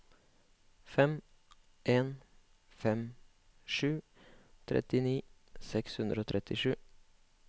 fem en fem sju trettini seks hundre og trettisju